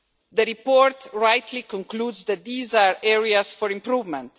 The report rightly concludes that these are areas for improvement.